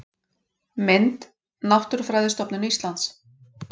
Mynd: Náttúrufræðistofnun Íslands